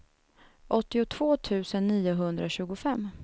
åttiotvå tusen niohundratjugofem